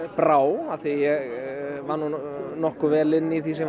brá af því að ég var nú nokkuð vel inni í því sem